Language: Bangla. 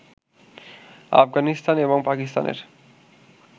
আফগানিস্তান এবং পাকিস্তানের